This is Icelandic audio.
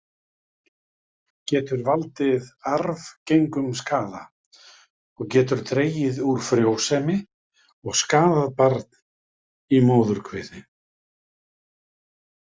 Getur valdið arfgengum skaða og getur dregið úr frjósemi og skaðað barn í móðurkviði.